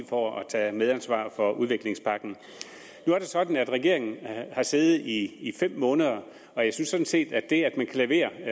for at tage et medansvar for udviklingspakken nu er det sådan at regeringen har siddet i fem måneder og jeg synes sådan set at det at man kan levere